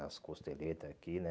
Nas costeletas aqui, né?